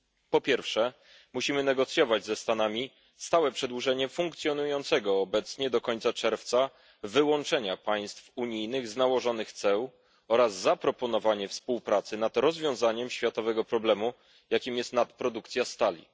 Po pierwsze musimy negocjować ze Stanami stałe przedłużenie funkcjonującego obecnie do końca czerwca wyłączenia państw unijnych z nałożonych ceł oraz zaproponowanie współpracy nad rozwiązaniem światowego problemu, jakim jest nadprodukcja stali.